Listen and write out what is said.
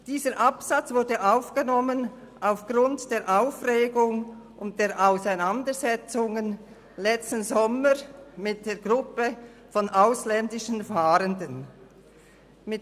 Dieser Absatz wurde aufgrund der Aufregung und der Auseinandersetzungen letzten Sommer mit einer Gruppe von ausländischen Fahrenden aufgenommen.